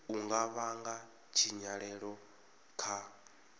u nga vhanga tshinyalelo kha